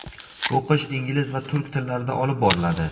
O‘qish ingliz va turk tillarida olib boriladi.